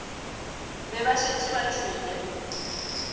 be ba šetše ba tšwele